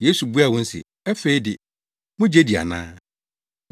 Yesu buaa wɔn se. “Afei de, mugye di ana?